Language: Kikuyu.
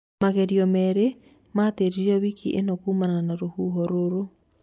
Magerio merĩ matĩririo wiki ĩno kuumana na rũhuho rũru